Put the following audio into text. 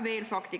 Veel fakte.